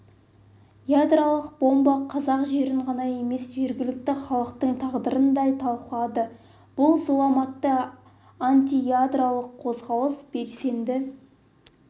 ядролық бомба қазақ жерін ғана емес жергілікті халықтың тағдырын да талқандады бұл зұлматты антиядролық қозғалыс белсендісі